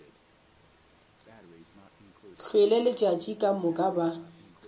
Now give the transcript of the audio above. hlwele letšatši ka moka ba